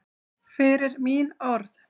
Fyrir mín orð.